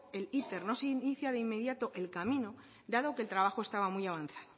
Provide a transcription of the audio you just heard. el iter no se inicia de inmediato el camino dado que el trabajo estaba muy avanzado